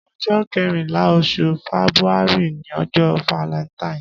Ọjọ kẹrinlà óṣú fẹbúàrí ni ọjọ fàlẹntáìn